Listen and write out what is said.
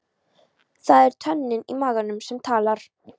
Það er tönnin í maganum sem talar.